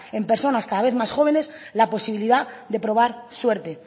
en personas cada vez más jóvenes la posibilidad de probar suerte